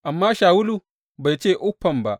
Amma Shawulu bai ce uffam ba.